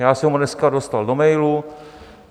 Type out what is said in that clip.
Já jsem ho dneska dostal do mailu.